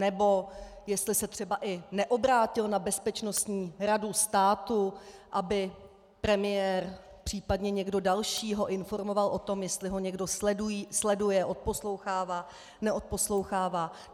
Nebo jestli se třeba i neobrátil na Bezpečnostní radu státu, aby premiér, případně někdo další ho informoval o tom, jestli ho někdo sleduje, odposlouchává, neodposlouchává.